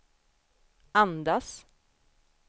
andas